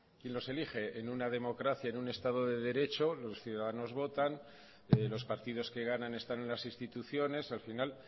quién los elige en una democracia en un estado de derecho los ciudadanos votan los partidos que ganan están en las instituciones al final